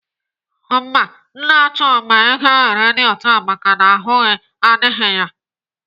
Mba, Nna Chuma egeghị redio taa maka na ahụ adịghị ya.